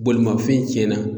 Bolimafɛn tiɲɛna.